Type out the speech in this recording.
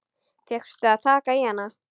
Fékkstu að taka í hana?